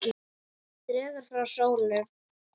Dregur frá sólu.